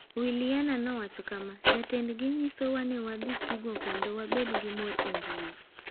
Williana nowacho kama: “Jatendgi nyisowa ni wadhi tugo kendo wabed gi mor e mbui.”